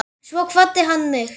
Svo kvaddi hann mig.